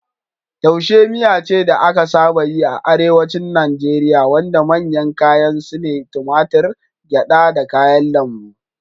Taushe miya ce da aka saba yi a Arewacin Najeriya wanda manyan kayan su ne tumatur, gyada, da kayan lambu.